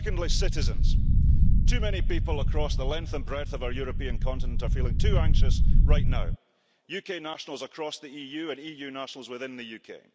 Secondly, citizens too many people, the length and breadth of our European continent, are feeling too anxious right now UK nationals across the EU and EU nationals within the UK.